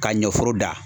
Ka ɲɛforo da